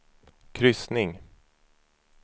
kryssning